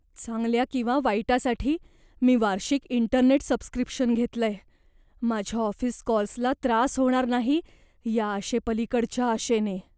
चांगल्या किंवा वाईटासाठी, मी वार्षिक इंटरनेट सबस्क्रिप्शन घेतलंय, माझ्या ऑफिस कॉल्सला त्रास होणार नाही या आशेपलिकडच्या आशेने.